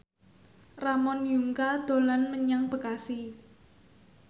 Ramon Yungka dolan menyang Bekasi